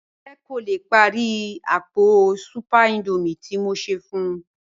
Jọkẹ kò lè pári àkọ́pọ̀ súpẹ̀r Índọ́míẹ̀ tí mò ṣẹ́ fún ù